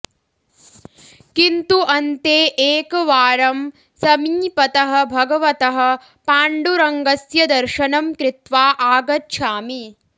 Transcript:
किन्तु अन्ते एकवारं समीपतः भगवतः पाण्डुरङ्गस्य दर्शनं कृत्वा आगच्छामि